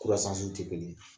Kusans'u tɛ kelen ye